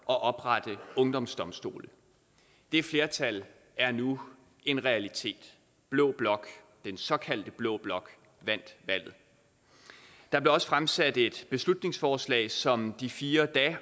og oprette ungdomsdomstole det flertal er nu en realitet blå blok den såkaldte blå blok vandt valget der blev også fremsat et beslutningsforslag som de fire